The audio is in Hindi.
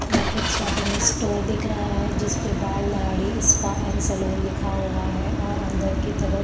यह एक शॉपिंग स्टोर दिख रहा है जिसपें बाल दाढ़ी स्पा एंड सेलून लिखा हुआ है और अंदर के तरफ --